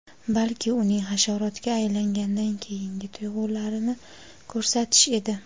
balki uning hasharotga aylangandan keyingi tuyg‘ularini ko‘rsatish edi.